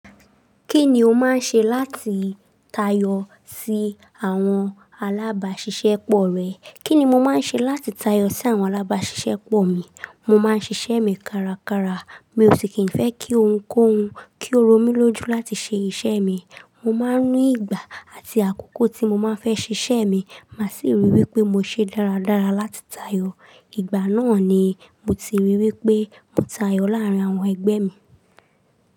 Kí ni o máa ń ṣe láti tayọ sí àwọn alábàáṣiṣẹ́ pọ̀ rẹ? Kíni mo máa ń ṣe láti tayọ sí àwọn alábáàṣìṣẹ́ pọ̀ mi. Mo máa ń ṣiṣẹ́ mi kárakára, mi ò sì kí n fẹ́ kí ohun kó hun, kí ó ro mí lójú láti ṣe iṣẹ́ mi. Mo máa ń ní ìgbà àti àkókò tí mo máa fẹ́ ṣiṣẹ́ mi, mà sì ríi wí pé mo ṣe dáradára láti tayọ. Ìgbà náà ni mo ti ríi wí pé mo tayọ láàrín àwọn ẹgbẹ́ mi.